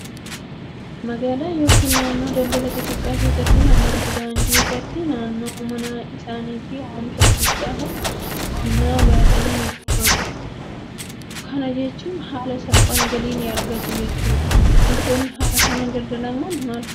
Magaalaa yookaan naannoo daldalaa xixiqqaa keessatti namoonni daandii irratti naannoo mana isaaniitti oomisha xixiqqaa kan qonnaa baasanii ni gurguratu. Kana jechuun haala salphaan galii ni argatu. Wantoonni haala kanaan daldalaman maal fa'aati?